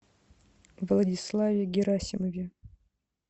владиславе герасимове